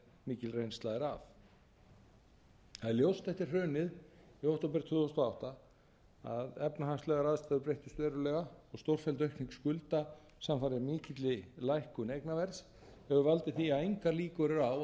mikil reynsla er af það er ljóst eftir hrunið í október tvö þúsund og átta að efnahagslegar aðstæður breyttust verulega og stórfelld aukning skulda samfara mikilli lækkun eignaverðs hefur valdið því að engar líkur eru á að